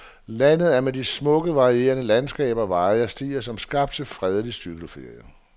Landet er med de smukke, varierende landskaber, veje og stier som skabt til fredelig cykelferie.